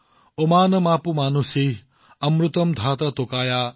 ঋগবেদে কয়